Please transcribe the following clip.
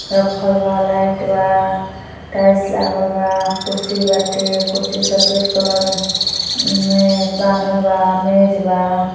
रखल बा। लाईट बा। टाइल्स लागल बा। कुर्सी बाटे। कुर्सी सफ़ेद कलर में पानल बा। मेज बा।